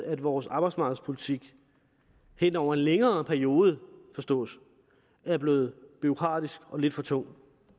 at vores arbejdsmarkedspolitik hen over en længere periode forstås er blevet bureaukratisk og lidt for tung